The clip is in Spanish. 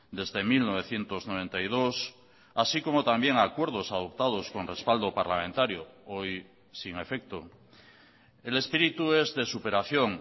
desde mil novecientos noventa y dos así como también acuerdos adoptados con respaldo parlamentario hoy sin efecto el espíritu es de superación